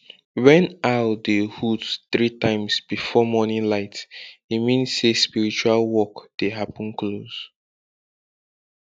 when owl dey hoot three times before morning light e mean say spiritual work dey happen close